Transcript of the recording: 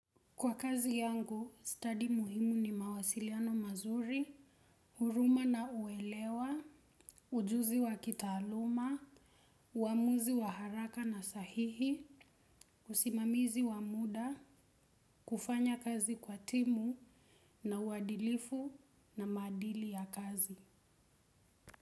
Kwa kazi yangu, study muhimu ni mawasiliano mazuri, huruma na uelewa, ujuzi wa kitaaluma, uamuzi wa haraka na sahihi, usimamizi wa muda, kufanya kazi kwa timu na uadilifu na maadili ya kazi.